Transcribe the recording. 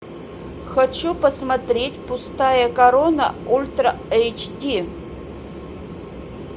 хочу посмотреть пустая корона ультра эйч ди